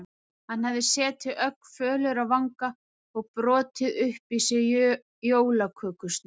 Hann hefði setið ögn fölur á vanga og brotið upp í sig jólakökusneið.